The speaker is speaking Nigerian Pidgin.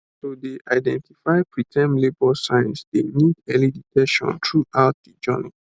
to dey identify preterm labour signs dey need early detection throughout de journey